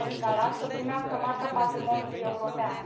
Urechia din Galați să primească Marca patrimoniului european.